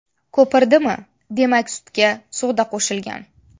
Ko‘pirdimi, demak sutga soda qo‘shilgan.